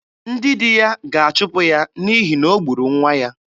Ndị di ya ga-achụpụ ya n'ihi na o gburu nwa ya.